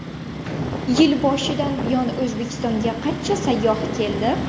Yil boshidan buyon O‘zbekistonga qancha sayyoh keldi?.